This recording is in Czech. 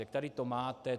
A tady to máte.